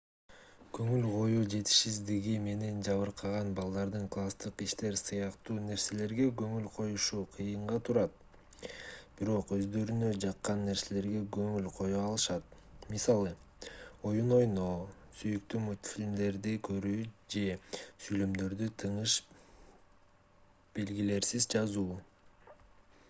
көңүл коюу жетишсиздиги менен жабыркаган балдардын класстык иштер сыяктуу нерселерге көңүл коюшу кыйынга турат бирок өздөрүнө жаккан нерселерге көңүл коё алышат мисалы оюн ойноо сүйүктүү мультфильмдерди көрүү же сүйлөмдөрдү тыныш белгилерсиз жазуу